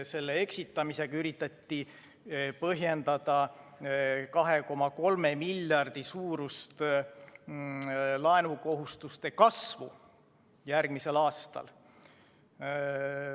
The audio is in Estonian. Selle eksitamisega üritati põhjendada 2,3 miljardi suurust laenukohustuste kasvu järgmisel aastal.